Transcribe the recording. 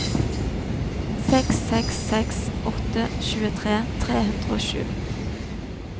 seks seks seks åtte tjuetre tre hundre og sju